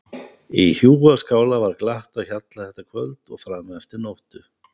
Í hjúaskála var glatt á hjalla þetta kvöld og fram eftir nóttu.